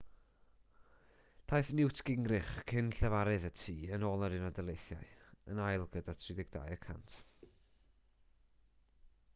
daeth newt gingrich cyn-lefarydd y tŷ yn yr unol daleithiau yn ail gyda 32 y cant